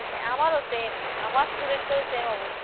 আমারও same আমার student দেরও same অবস্থা।